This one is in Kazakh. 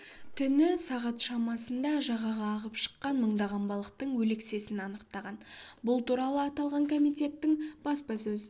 түні сағат шамасында жағаға ағып шыққан мыңдаған балықтың өлексесін анықтаған бұл туралы аталған комитеттің баспасөз